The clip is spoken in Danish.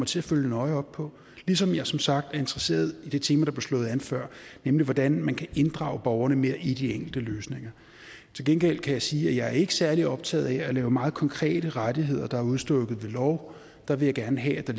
til at følge nøje op på ligesom jeg som sagt er interesseret i det tema der blev slået an før nemlig hvordan man kan inddrage borgerne mere i de enkelte løsninger til gengæld kan jeg sige at jeg ikke er særlig optaget af at lave meget konkrete rettigheder der er udstukket ved lov jeg vil gerne have at